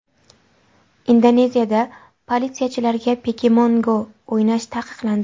Indoneziyada politsiyachilarga Pokemon Go o‘ynash taqiqlandi.